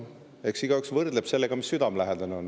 Eks igaüks võrdleb sellega, mis talle südamelähedane on.